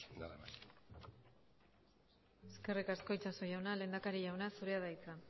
nada más eskerrik asko itxaso jauna lehendakari jauna zurea da hitza